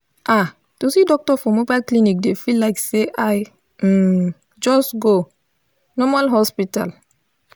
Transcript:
ah to see doctor for mobile clinic dey feel like say i um just go normal hospital.